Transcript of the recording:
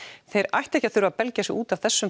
þeir ættu ekki að þurfa belgja sig út af þessum